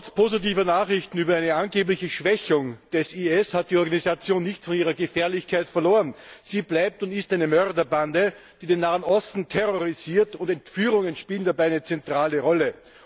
Trotz positiver Nachrichten über eine angebliche Schwächung des IS hat die Organisation nichts von ihrer Gefährlichkeit verloren. Sie ist und bleibt eine Mörderbande, die den Nahen Osten terrorisiert, und Entführungen spielen dabei eine zentrale Rolle.